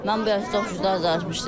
Mən belə çox danışmışdım.